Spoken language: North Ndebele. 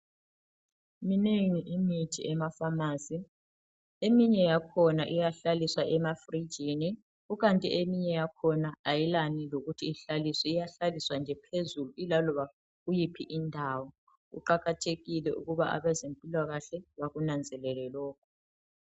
Minengi imithi emafamasi ,eminye yakhona iyahlaliswa emafrijini. Kukanti eminye yakhona ayilani lokuthi ihlaliswe ,iyahlaliswa nje phezulu ilaloba kuyiphi indawo. Kuqakathekile ukuba abezempilakahle bakunanzelele lokhu.